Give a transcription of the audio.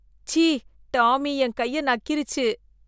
ச்சீ, டாமி என் கைய நக்கிருச்சு.